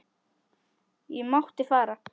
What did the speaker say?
Ég mátti fara.